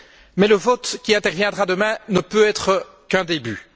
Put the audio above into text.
Mais le vote qui interviendra demain ne peut être qu'un début.